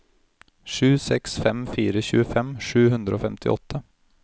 sju seks fem fire tjuefem sju hundre og femtiåtte